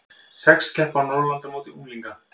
Sex keppa á Norðurlandamóti unglinga